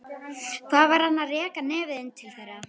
Hvað var hann að reka nefið inn til þeirra?